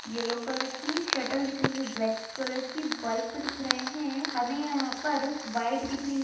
yellow colour की shuttle दिख रही है ब्लैक कलर की बल्ब दिख रहे हैं हमें यहां पर बाइक दिख रही --